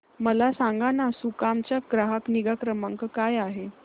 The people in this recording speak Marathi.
मला सांगाना सुकाम चा ग्राहक निगा क्रमांक काय आहे